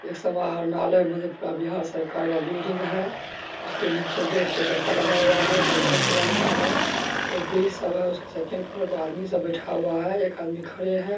इस संग्रहालय में बिहार सरकार का बिल्डिंग है| उसके नीचे दो चार चक्का लगा हुआ है जो व्हाइट कलर का है| सब है उसके सेकंड फ्लोर पर आदमी सब बैठा हुआ है एक आदमी खड़े है।